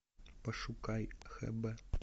пошукай хб